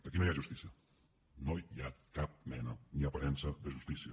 aquí no hi ha justícia no hi ha cap mena ni aparença de justícia